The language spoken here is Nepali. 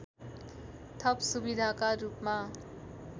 थप सुविधाका रूपमा